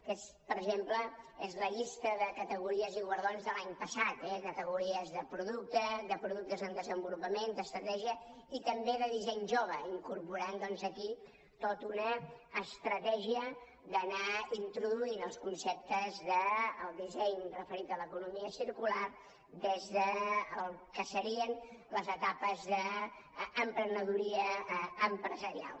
aquesta per exemple és la llista de categories i guardons de l’any passat eh categories de producte de productes en desenvolupament d’estratègia i també de disseny jove incorporant doncs aquí tota una estratègia d’anar introduint els conceptes del disseny referit a l’economia circular des del que serien les etapes d’emprenedoria empresarial